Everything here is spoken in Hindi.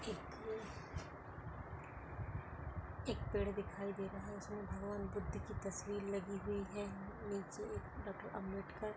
एक अह एक पेड़ दिखाई दे रहा है। जिसमे भगवान बुद्ध की तस्वीर लगी हुई है। नीचे डॉक्टर आंबेडकर-- .